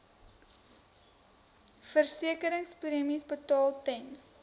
versekeringspremies betaal ten